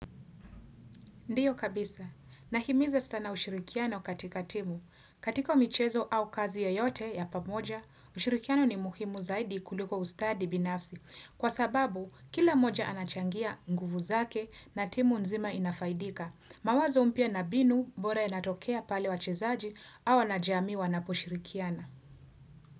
Ndiyo kabisa. Nahimiza sana ushirikiano katika timu. Katika michezo au kazi yote ya pamoja, ushirikiano ni muhimu zaidi kuliko ustadi binafsi. Kwa sababu, kila mmoja anachangia nguvu zake na timu nzima inafaidika. Mawazo mpya na mbinu bora inatokea pale wachezaji au wanajamii wanaposhirikiana.